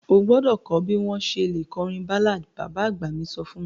O gbọ́dọ̀ kọ bi o ṣe le kọrin ballad; baba agba mi so fun mi.